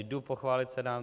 Jdu pochválit Senát.